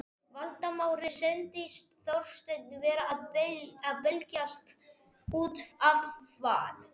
Valdimari sýndist Þorsteinn vera að belgjast út af van